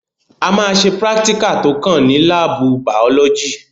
A máa ṣe prátíkà tó kàn ní lábù bàọ́lọ́gì.